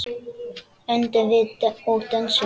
Öndum og dönsum.